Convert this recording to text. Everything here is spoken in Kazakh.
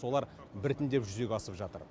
солар біртіндеп жүзеге асып жатыр